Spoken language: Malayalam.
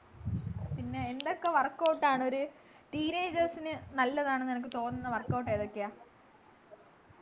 പിന്നെ എന്തൊക്കെ workout ആണൊരു teenagers നു നല്ലതാണെന്നു അനക്ക് തോന്നുന്ന workout ഏതൊക്കെയാ